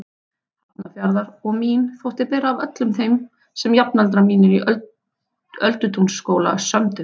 Hafnarfjarðar og mín þótti bera af öllum þeim sem jafnaldrar mínir í Öldutúnsskóla sömdu.